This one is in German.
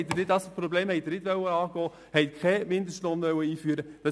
Dieses Problem haben Sie nicht angehen wollen, Sie haben keinen Mindestlohn einführen wollen.